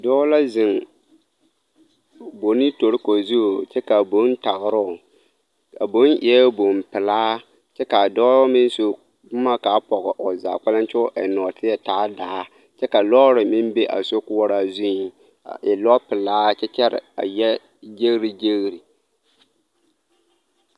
Dɔɔ la zeŋ bonni toriko zu kyɛ ka a bonni tagera o, a boŋ eɛ boŋ-pelaa kyɛ ka a dɔɔ meŋ su boma ka a pɔge o zaa kpɛlɛm kyɛ k'o eŋ nɔɔteɛ taa daa kyɛ la lɔɔre meŋ be a sokoɔraa zu a e lɔpelaa kyɛ kyɛre a yɛ gyeregyere.